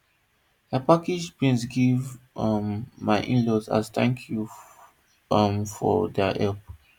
i package beans give um my inlaws as thank you um for their help